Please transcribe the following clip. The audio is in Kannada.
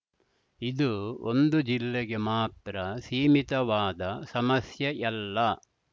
ಇದು ಒಂದು ಜಿಲ್ಲೆಗೆ ಮಾತ್ರ ಸೀಮಿತವಾದ ಸಮಸ್ಯೆಯಲ್ಲ